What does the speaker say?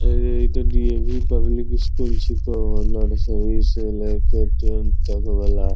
अरे इ ते डी.ए.वी. पब्लिक स्कूल छिको नर्सरी से लेके टेन तक वाला।